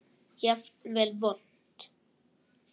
Jafnvel vont.